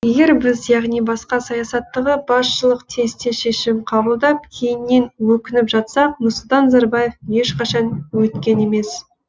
егер біз яғни басқа саясаттағы басшылық тез тез шешім қабылдап кейіннен өкініп жатсақ нұрсұлтан назарбаев ешқашан өйткен емес